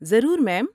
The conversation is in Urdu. ضرور، میم۔